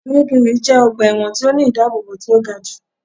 Kiríkirì jẹ́ ọgbà ẹ̀wọ̀n tí ó ní ìdábóbò tí ó ga jù